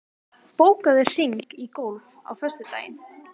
Tófa, bókaðu hring í golf á föstudaginn.